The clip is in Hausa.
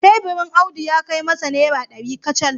Teburin Audu ya kai masa naira dari kacal